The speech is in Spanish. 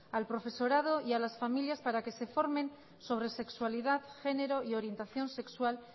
al profesorado y a las familias para que se formen sobre sexualidad género y orientación sexual